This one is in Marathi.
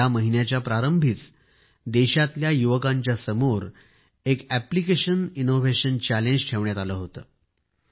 या महिन्याच्या प्रारंभीच देशातल्या युवकांच्या समोर एक अप्लिकेशन इनोव्हेशन चॅलेंज ठेवण्यात आले होते